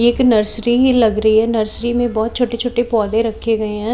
एक नर्सरी ही लग रही है नर्सरी में बहोत छोटे छोटे पौधे रखे गए हैं।